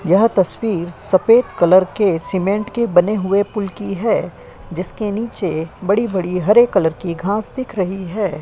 यह तस्वीर सफेद कलर के सीमेंट के बने हुए पुल की है। जिसके नीचे बड़ी-बड़ी हरे कलर की घास दिख रही है।